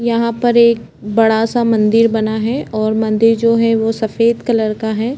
यहाँ पर एक बड़ा सा मंदिर बना है और मंदिर जो है वो सफेद कलर का है।